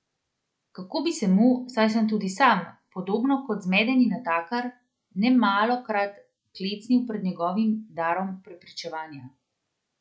Kako bi se mu, saj sem tudi sam, podobno kot zmedeni natakar, nemalokrat klecnil pred njegovim darom prepričevanja.